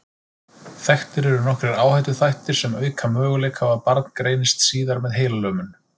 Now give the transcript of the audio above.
Þekktir eru nokkrir áhættuþættir sem auka möguleika á að barn greinist síðar með heilalömun.